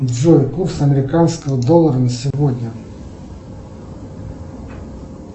джой курс американского доллара на сегодня